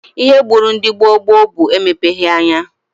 Ihe gburu ndị gboo gboo bụ emepeghi anya